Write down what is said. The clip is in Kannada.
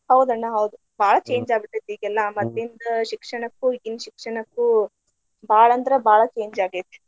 ಹೌದ ಅಣ್ಣಾ ಹೌದು ಬಾಳ change ಆಗಿ ಬಿಟ್ಟೆತಿ ಈಗೆಲ್ಲಾ ಮದ್ಲಿಂದ ಶಿಕ್ಷಣಕ್ಕು ಈಗಿನ ಶಿಕ್ಷಣಕ್ಕು ಬಾಳ ಅಂದ್ರ ಬಾಳ change ಆಗೇತಿ.